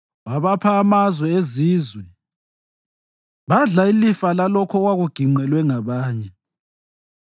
Wabapha amazwe ezizwe, badla ilifa lalokho okwakuginqelwe ngabanye,